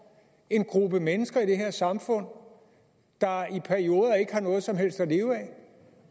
en gruppe mennesker i det her samfund der i perioder ikke har noget som helst at leve af